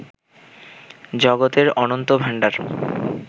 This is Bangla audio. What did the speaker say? জগতের অনন্ত ভাণ্ডার